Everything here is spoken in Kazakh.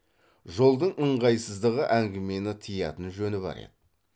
жолдың ыңғайсыздығы әңгімені тыятын жөні бар еді